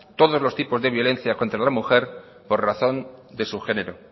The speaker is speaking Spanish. todos los tipos de violencia contra la mujer por razón de su género